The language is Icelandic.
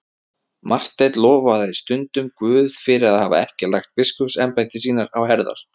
Marteinn lofaði stundum Guð fyrir að hafa ekki lagt biskupsembætti á sínar herðar.